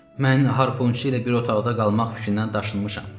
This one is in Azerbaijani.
Mən harpunçu ilə bir otaqda qalmaq fikrindən daşınmışam.